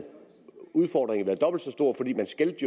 udfordringen været dobbelt så stor fordi man skældte